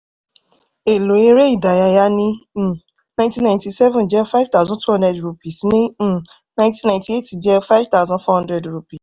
èlò eré ìdárayá ní um ninety ninety-seven jẹ́ five thousand two hundred rupees ní um ninety ninety-eight jẹ́ five thousand four hundred rupee